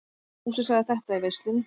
Fúsi sagði þetta í veislunni.